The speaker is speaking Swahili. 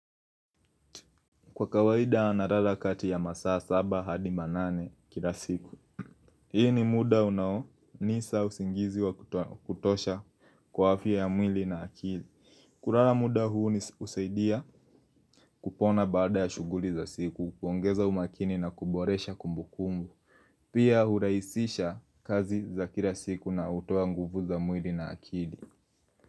Kwa kawaida nalala kati ya masaa saba hadi manane kila siku. Hii ni muda unaonipa usingizi wa kutosha kwa afya ya mwili na akili. Kulala muda huu husaidia kupona baada ya shughuli za siku, kuongeza umakini na kuboresha kumbu kumbu. Pia hurahisisha kazi za kila siku na hutoa nguvu za mwili na akili.